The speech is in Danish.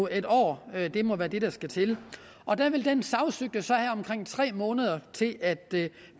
en år må være det der skal til og der vil den sagsøgte have omkring tre måneder til at